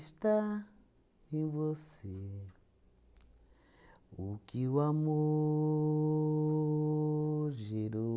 em você o que o amor gerou